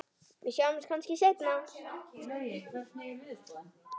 Við sjáumst kannski seinna.